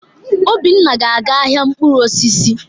Obinna ga-aga ahịa mkpụrụ osisi.